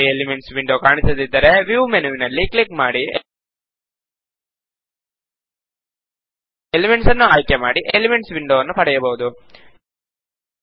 ನಿಮಗೆ elements window ಕಾಣಿಸದಿದ್ದರೆ view ಮೆನುವನ್ನು ಕ್ಲಿಕ್ ಮಾಡಿ ಎಲಿಮೆಂಟ್ಸ್ ನ್ನು ಆಯ್ಕೆ ಮಾಡಿ ಎಲಿಮಂತ್ಸ್ ವಿಂಡೋ ವನ್ನು ಪಡೆಯಬಹುದು